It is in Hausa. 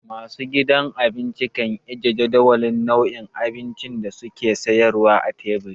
Masu gidan abinci kan ajiye jadawalin nau'in abincin da su ke sayarwa a teburi.